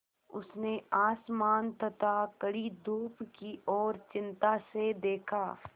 उसने आसमान तथा कड़ी धूप की ओर चिंता से देखा